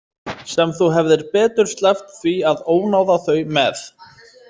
Sem þú hefðir betur sleppt því að ónáða þau með.